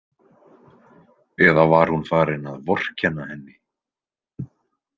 Eða var hún farin að vorkenna henni?